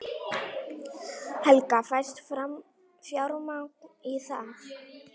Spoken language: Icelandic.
Helga: Fæst fjármagn í það?